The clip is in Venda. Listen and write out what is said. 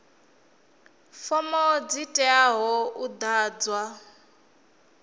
fomo dzi teaho u ḓadzwa